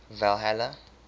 valhalla